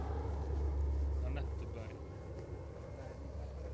Annette Bergh